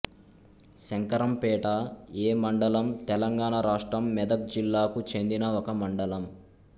Shankarampet A మండలం తెలంగాణ రాష్ట్రం మెదక్ జిల్లాకు చెందిన ఒక మండలం